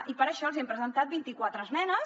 i per això els hi hem presentat vint i quatre esmenes